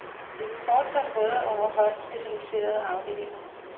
Vi vil fortsat råde over højt specialiserede afdelinger.